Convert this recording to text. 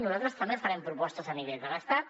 i nosaltres també farem propostes a nivell de l’estat